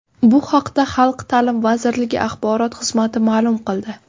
Bu haqda Xalq ta’limi vazirligi axborot xizmati ma’lum qildi.